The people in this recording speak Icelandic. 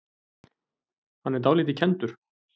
Hann er dálítið kenndur.